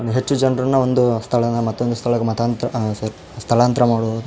ಹೆಚ್ಚು ಜನರನ್ನ ಒಂದು ಸ್ಥಳದಿಂದ ಮತ್ತೊಂದು ಸ್ಥಳಕ್ಕೆ ಮತಾಂತರ ಅ ಸೋರಿ ಸ್ಥಳಾಂತರ ಮಾಡುವುದು --